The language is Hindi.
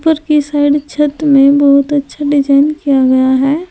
ऊपर की साइड छत में बहुत अच्छा डिजाइन किया गया है।